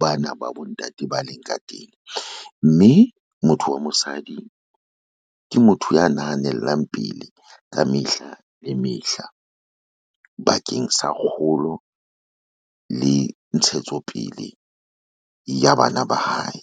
ba na ba bontate ba leng ka teng, mme motho wa mosadi ke motho ya nahanellang pele ka mehla le mehla bakeng sa kgolo le ntshetsopele ya bana ba hae.